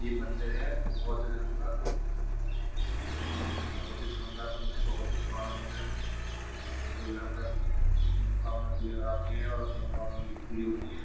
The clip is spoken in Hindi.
ये मंदिर है बौद्ध धरम का। बोहोत ही शानदार मंदिर है। बोहोत ही पुराना मंदिर है। लोग यहां पर अपनी अपनी मनोकामना को लेकर आते हैं और अब मनोकामना उनकी पूरी होती हैं।